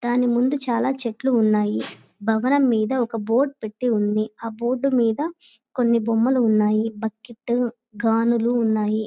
దాని ముందు చాలా చెట్లు ఉన్నాయ్ భవనం మీద ఒక బోర్డు పెట్టి ఉంది. ఆ బోర్డు మీద కొన్ని బొమ్మలు ఉన్నాయ్ బకెట్ గానుగలు ఉన్నాయ్.